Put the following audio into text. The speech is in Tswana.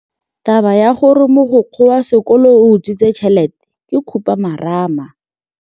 Taba ya gore mogokgo wa sekolo o utswitse tšhelete ke khupamarama.